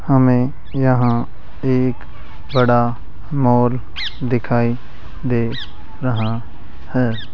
हमें यहां एक बड़ा मॉल दिखाई दे रहा है।